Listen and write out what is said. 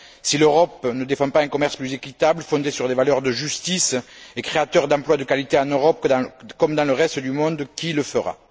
Si l'Europe ne défend pas un commerce plus équitable, fondé sur les valeurs de justice et créateur d'emplois de qualité en Europe comme dans le reste du monde, qui le fera?